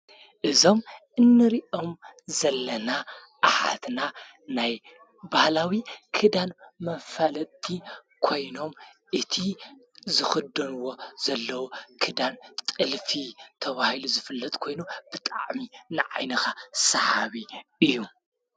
እዞም እንርእኦም ዘለና ኣሓትና ናይ ባህላዊ ክዳን መፋለጥቲ ኮይኖም እቲ ዝኽደንዎ ዘለዉ ክዳን ጥልፊ ተባሂሉ ዝፍለጥ ኮይኑ ብጣዕሚ ንዓይንኻ ሰሓቢ እዩ።